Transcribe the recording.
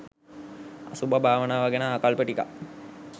අසුභ භාවනාව ගැන ආකල්ප ටිකක්